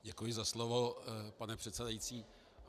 Děkuji za slovo, pane předsedající.